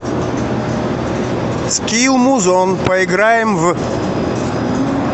скилл музон поиграем в